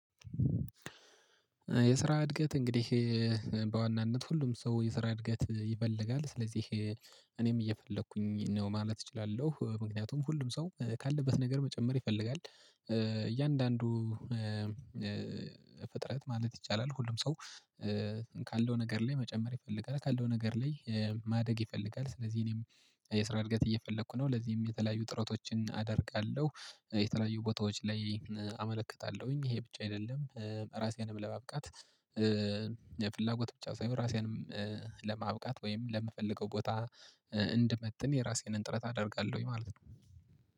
የስራ እድገት እንግዲህ በዋናነት ሁሉም ሰው የስራ እድገት ይፈልጋል ስለዚህ እኔም እየፈለኩኝ ነው ማለት እችላለሁ ምክንያቱም ሁሉም ሰው ካለበት ነገር መጨመር ይፈልጋል። እያንዳንዱ ፍጥረት ማለት ይቻላል ሁሉም ሰው ካለው ነገር ላይ መጨመር ይፈልጋል ካለው ነገር ላይ ማደግ ይፈልጋል። ስለዚህ እኔም የስራ እድገት እየፈለኩ ነው ለዚህም የተለያዩ ጥረቶችን አደርጋለሁ የተለያዩ ቦታዎች ላይ አመለክታለሁኝ ይሄ ብቻ አይደለም። ራሴንም ለማብቃት የፍላጎት ብቻ ሳይሆን ራሴንም ለማብቃት ወይም ለምፈልገው ቦታ እንድመጥን የራሴን ጥረት አደርጋለሁኝ ማለት ነው